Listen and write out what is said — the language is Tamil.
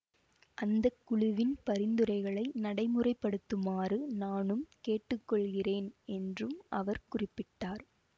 அந்த குழுவின் பரிந்துரைகளை நடைமுறைப்படுத்துமாறு நானும் கேட்டுக்கொள்கிறேன் என்றும் அவர் குறிப்பிட்டார்